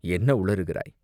"என்ன உளறுகிறாய்?